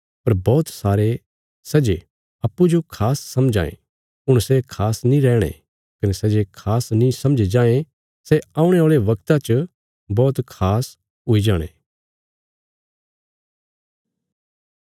पर बौहत सारे सै जे अप्पूँजो खास समझां ये हुण सै खास नीं रैहणे कने सै जे खास नीं समझे जायें सै औणे औल़े बगता च बौहत खास हुई जाणे